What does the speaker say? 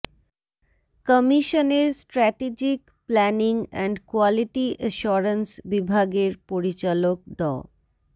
কমিশনের strategic planning and quality assurance বিভাগের পরিচালক ড